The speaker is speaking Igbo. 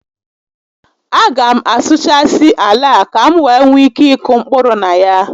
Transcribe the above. A ga m asuụchasị ala a ka m wee nwee ike ịkụ mkpụrụ na ya